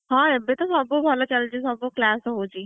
ହଁ ଏବେ ତ ସବୁଭଲ ଚାଲିଛି ସବୁ class ହଉଛି।